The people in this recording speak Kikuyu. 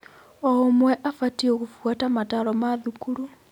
O ũmwe abatiĩ gũbuata motaaro ma thukuru.